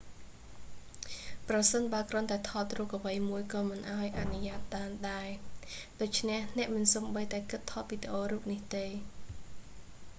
ប្រសិនបើគ្រាន់តែថតរូបអ្វីមួយក៏មិនបានអនុញ្ញាតឱ្យដែរ ដូច្នេះអ្នកមិនសូម្បីតែគិតថតវីដេអូរូបនោះទេ